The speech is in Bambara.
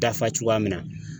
Dafa cogoya min na